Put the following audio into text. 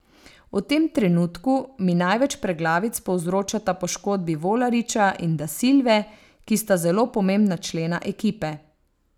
V tem trenutku mi največ preglavic povzročata poškodbi Volariča in Da Silve, ki sta zelo pomembna člena ekipe.